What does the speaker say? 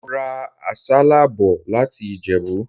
Mo ra àsálà bò láti Ìjẹ̀bú.